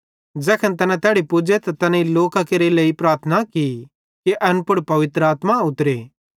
ज़ैखन तैना तैड़ी पुज़े त तैनेईं तैन लोकां केरे लेइ प्रार्थना की कि एन पुड़ पवित्र आत्मा उतरे